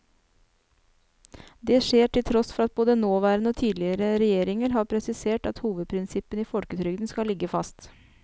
Det skjer til tross for at både nåværende og tidligere regjeringer har presisert at hovedprinsippene i folketrygden skal ligge fast.